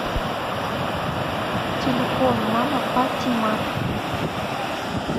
телефон мама патимат